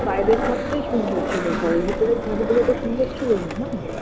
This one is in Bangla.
বাইরের ছাদটাই সুন্দর ছিল ঘরের ভিতরের ছাদগুলো তো সুন্দর ছিলোনা না